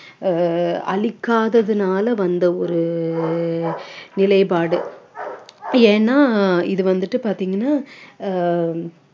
ஆஹ் அழிக்காததுனால வந்த ஒரு நிலைப்பாடு ஏன்னா இது வந்துட்டு பாத்தீங்கன்னா ஆஹ்